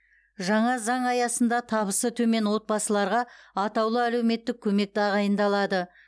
жаңа заң аясында табысы төмен отбасыларға атаулы әлеуметтік көмек тағайындалады